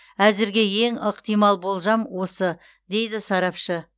әзірге ең ықтимал болжам осы дейді сарапшы